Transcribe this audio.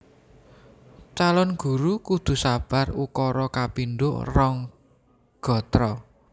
Calon Guru kudu sabar ukara kapindho rong gatra